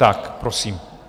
Tak prosím.